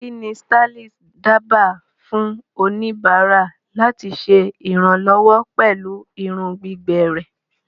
Kí ni stylist dábàá fún oníbàárà láti ṣe ìrànlọ́wọ́ pẹ̀lú irun gbígbẹ rẹ̀?